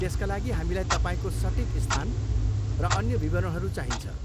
त्यसका लागि, हामीलाई तपाईँको सटिक स्थान र अन्य विवरणहरू चाहिन्छ।